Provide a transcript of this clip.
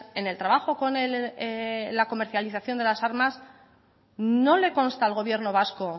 en el trabajo con la comercialización de las armas no le consta al gobierno vasco